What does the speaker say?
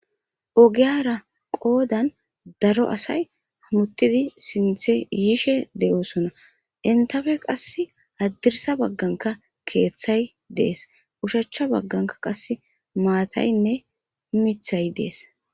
Ogeyara qodan daro asay woxidi sinthe yishe de'osona henitape qasika hadirisa bagan kethay de'es ushacha bagan qaseka matayinee mithay de'es